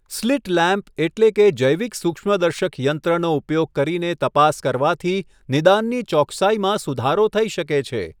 Slit lamp એટલે કે જૈવિક સૂક્ષ્મદર્શક યંત્રનો ઉપયોગ કરીને તપાસ કરવાથી નિદાનની ચોકસાઈમાં સુધારો થઈ શકે છે.